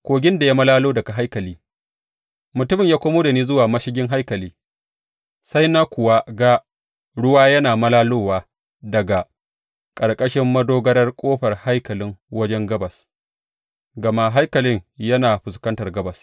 Kogin da ya malalo daga haikali Mutumin ya komo da ni zuwa mashigin haikalin, sai na kuwa ga ruwa yana malalowa daga ƙarƙashin madogarar ƙofar haikalin wajen gabas gama haikalin yana fuskantar gabas.